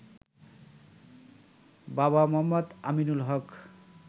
বাবা মো. আমিনুল হক